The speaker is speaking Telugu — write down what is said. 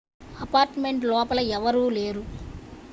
అపార్ట్మెంట్ లోపల ఎవరూ లేరు